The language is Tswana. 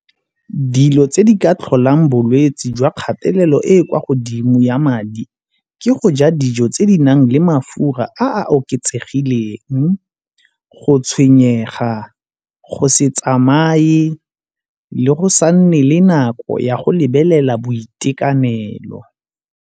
Dilo tse di ka tlholang bolwetsi jwa kgatelelo e e kwa godimo ya madi ke go ja dijo tse di nang le mafura a oketsegileng, go tshwenyega go se tsamaye le go sa nne le nako ya go lebelela boitekanelo.